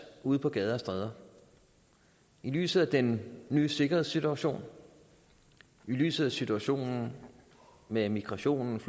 ude på gader og stræder i lyset af den nye sikkerhedssituation i lyset af situationen med migrations